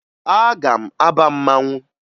Aga m aba mmanwụ